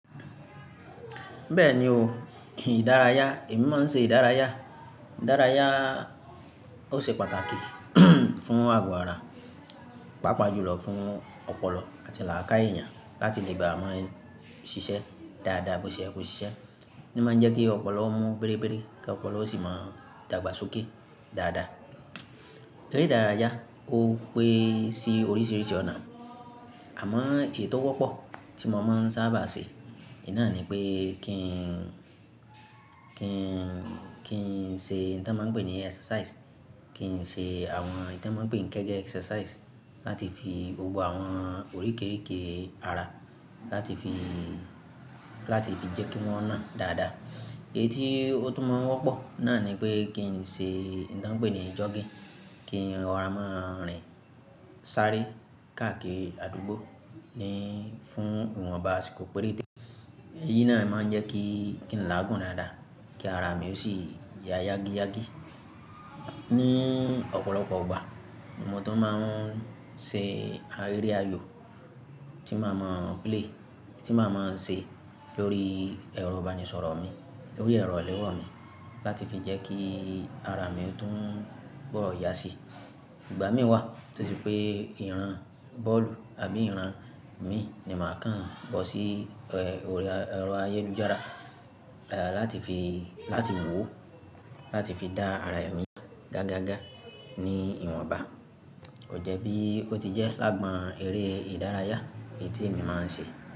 Bẹ́ẹ̀ni o, ìdárayá, èmi máa ń ṣe ìdárayá. Ìdárayá ó ṣe pàtàkì fún àgọ̀ ara, pàápàá jùlọ fún ọpọlọ àti làákàyè ëyàn láti lè bá a máa ṣiṣẹ́ dáadáa bó ṣe yẹ kò ṣiṣẹ́. Ó máa ń jẹ́ kí ọpọlọ mú bérébéré kí ọpọlọ ó sì máa dàgbàsókè dáadáa. Eré ìdárayá ó pé sí oríṣiríṣi ọ̀nà, àmọ́ èyí tò wọ́pọ̀ tí mo máa ń sáabà ṣe, ì náà ni pé kí n, kí n, kí n ṣe ohun tí wọ́n mań pè ní exercise, kí n ṣe àwọn ẹyi tí wọ́n ń pè ní kẹ́gẹ́ exercise láti fi Gbogbo àwọn oríkerike ara láti fi, láti fi jẹ́ kí wọ́n nà dáadáa. Èyí tí ó tún máa ń wọ́pọ̀ náà ni pé kí n ṣe ẹyi tí wọ́n ń pè ní jogging, kí in rọ̀rá máa rìn sáré káàkiri àdúgbò ní fún ìwọ̀nba asikò péréte. Èyí náà máa ń jẹ́ kí, kí n láàgún dáadáa kí ara mi yóò sì ya yágíyágí. Ni ọ̀pọ̀lọpọ̀ ìgbà mo tún máa ń ṣe arẹ́ ayò tí màá mọ play, tí màá mọ ṣe lórí ẹ̀rọ ìbánisọ̀rọ̀ mi, lórí ẹ̀rọ ilẹ́wọ̀ mi láti fi jẹ́ kí ara mi tún bòó ya sí. Ìgbà mí wà to ṣe pé ìran bọ́ọ̀lù àbí ìran mi ni màá kàn bọ́ sí ẹ̀rọ ayélujára, eh, láti fi, láti wò ó láti fi dá ara mi gágaga ní ìwọ̀nba. Kò jẹ́ bí ó ti jẹ́ lágbọn eré ìdárayá èyí tí èmi máa ń ṣe.